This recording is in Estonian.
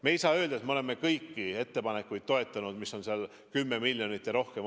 Me ei saa öelda, et me oleme toetanud kõiki ettepanekuid, mis on olnud 10 miljonit ja rohkem.